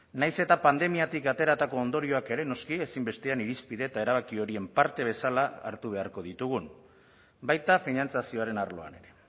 nahiz eta pandemiatik ateratako ondorioak ere noski ezinbestean irizpide eta erabaki horien parte bezala hartu beharko ditugun baita finantzazioaren arloan ere